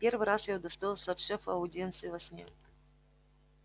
первый раз я удостоился от шефа аудиенции во сне